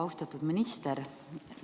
Austatud minister!